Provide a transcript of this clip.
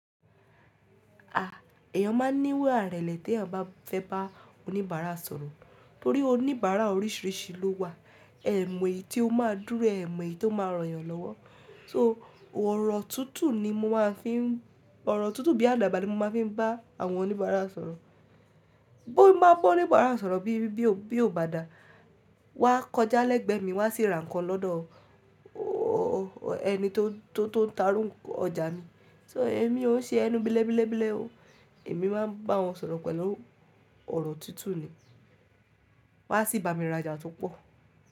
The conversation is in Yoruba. Èèyàn máa ń ní ìwà ìrẹ̀lẹ̀ tí èèyàn bá fẹ́ bá oníbàárà sọ̀rọ̀. Torí oníbàárà oríṣìíríṣìí ló wà, ẹ̀ mọ́ èyí tí ó máa dúró, ẹ̀ mọ̀ èyí tó máa reyàn lọ́wọ́. So, ọ̀rọ̀ tútù bí àdàbà ni mo máa ń fi bá àwọn oníbàárà sọ̀rọ̀. Bí n bá oníbàárà sọ̀rọ̀ bí ó bá dà, wá kọjá lẹ́gbẹ́ mi wá sì ra nǹkan lọ́dọ̀ ẹni tó ń ta irú ọjà mi. So, èmi ó ń ṣe ẹnu bí le bi le bi le o. Èmi máa ń bá wọn sọ̀rọ̀ pẹ̀lú ọ̀rọ̀ tútù ni. Wá sì bá mi ra ọjà tó pọ̀.